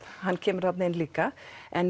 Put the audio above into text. hann kemur þarna inn líka en